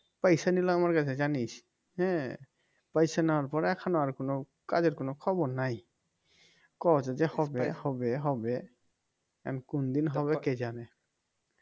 পয়সা নলি আমার কাছে জানিস হ্যাঁ পয়সা নেবার পরে এখন আর কোনো কাজের কোনো খবর নাই কয় যে হবে হবে হবে এখন কোনদিন হবে কে জানে